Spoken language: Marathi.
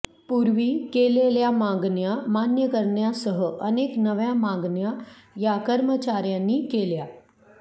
पूर्वी केलेल्या मागण्या मान्य करण्यासह अनेक नव्या मागण्या या कर्मचाऱ्यांनी केल्या